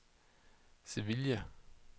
Sevilla